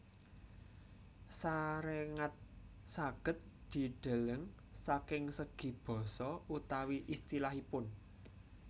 Saréngat saged dideleng saking segi basa utawi istilahipun